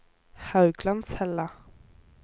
Hauglandshella